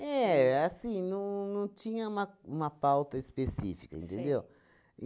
É, assim, não não tinha uma uma pauta específica, entendeu?